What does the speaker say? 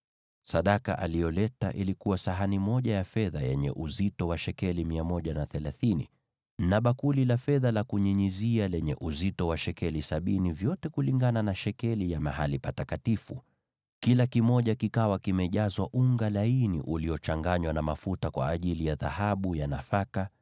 Sadaka aliyoleta ilikuwa sahani moja ya fedha yenye uzito wa shekeli 130, na bakuli moja la fedha la kunyunyizia lenye uzito wa shekeli sabini, vyote kulingana na shekeli ya mahali patakatifu, vikiwa vimejazwa unga laini uliochanganywa na mafuta kama sadaka ya nafaka;